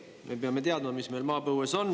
Me peame teadma, mis meil maapõues on.